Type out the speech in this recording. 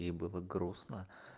мне было грустно